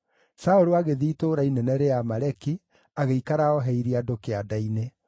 Saũlũ agĩthiĩ itũũra inene rĩa Amaleki, agĩikara ooheirie andũ kĩanda-inĩ.